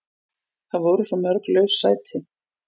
Það voru svo mörg laus sæti.